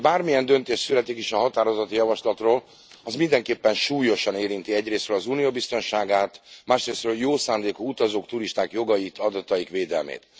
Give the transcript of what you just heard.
Bármilyen döntés születik is az állásfoglalási indítványról, az mindenképpen súlyosan érinti egyrészről az Unió biztonságát, másrészről a jó szándékú utazók, turisták jogait, adataik védelmét.